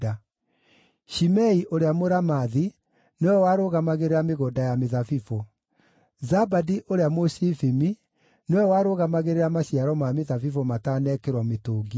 Shimei ũrĩa Mũramathi nĩwe warũgamagĩrĩra mĩgũnda ya mĩthabibũ. Zabadi ũrĩa Mũshifimi nĩwe warũgamagĩrĩra maciaro ma mĩthabibũ matanekĩrwo mĩtũngi-inĩ.